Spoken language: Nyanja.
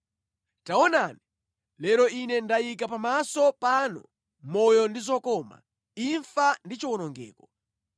Taonani, lero ine ndayika pamaso panu moyo ndi zokoma, imfa ndi chiwonongeko.